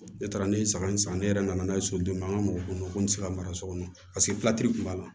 Ne taara ne ye saga in san ne yɛrɛ nana n'a ye soden min an ka mɔgɔ kɔnɔ ko n tɛ se ka mara so kɔnɔ tun b'a la